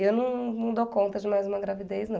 E eu não não dou conta de mais uma gravidez, não.